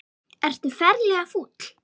Ertu ferlega fúll?